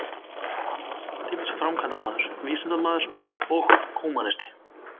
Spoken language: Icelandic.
Hann var samtímis framkvæmdamaður, vísindamaður og húmanisti.